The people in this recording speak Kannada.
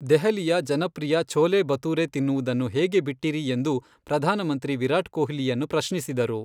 ದೆಹಲಿಯ ಜನಪ್ರಿಯ ಛೊಲೆ ಭತುರೆ ತಿನ್ನುವುದನ್ನು ಹೇಗೆ ಬಿಟ್ಟಿರಿ ಎಂದು ಪ್ರಧಾನಮಂತ್ರಿ ವಿರಾಟ್ ಕೊಹ್ಲಿಯನ್ನು ಪ್ರಶ್ನಿಸಿದರು.